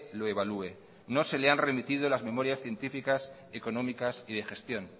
lo evalúe no se le han remitido las memorias científicas económica y de gestión